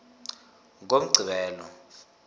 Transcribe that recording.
ngomgqibelo